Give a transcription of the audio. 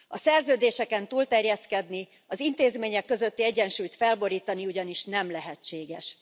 A szerződéseken túl terjeszkedni, az intézmények közötti egyensúlyt felborítani ugyanis nem lehetséges.